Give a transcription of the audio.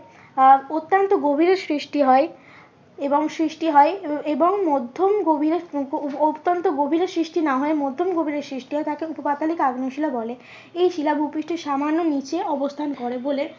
আহ অত্যন্ত গভীরে সৃষ্টি হয়। এবং সৃষ্টি হয় এবং মধ্যম গভীরে অত্যন্ত গভীরে সৃষ্টি না হয়ে মধ্যম গভীরে সৃষ্টি হয় তাকে উপপাতালিক আগ্নেয় শিলা বলে। এই শিলা ভুপৃষ্ঠের সামান্য নিচে অবস্থান করে বলে